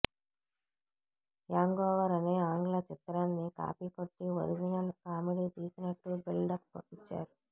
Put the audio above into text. hangover అనే ఆంగ్ల చిత్రాన్ని కాపీ కొట్టి ఒరిజినల్ కామెడీ తీసినట్టు బిల్డప్ ఇచ్చారు